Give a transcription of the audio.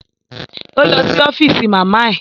Ó lọ sí ọ́fíìsì màmá ẹ